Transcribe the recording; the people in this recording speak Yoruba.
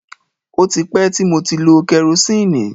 O tí pẹ́ ti mo ti lo kẹrosíìnì.